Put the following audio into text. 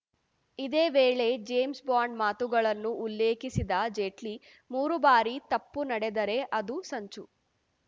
ಇದೇ ವೇಳೆ James Bond ಮಾತುಗಳನ್ನು ಉಲ್ಲೇಖಿಸಿದ ಜೇಟ್ಲಿ ಮೂರು ಬಾರಿ ತಪ್ಪು ನಡೆದರೆ ಅದು ಸಂಚು